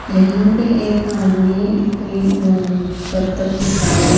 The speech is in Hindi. यहां पे एक आदमी कोई अं करतब दिखा रहा--